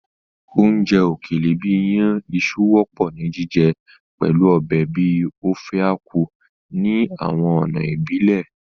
Oúnjẹ òkèlè bìí iyàn iṣu wọ́pọ̀ ni jíjẹ pẹ̀lu ọbẹ̀ bíi Ofe Akwu ní àwọn ọ̀nà ìbílẹ̀.